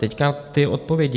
Teď ty odpovědi.